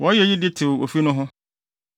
Wɔyɛ eyi de tew ofi no ho.